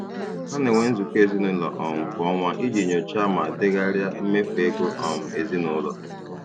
Ha na-enwe nzukọ ezinụlọ um kwa ọnwa iji nyochaa ma degharịa mmefu ego um ezinụlọ.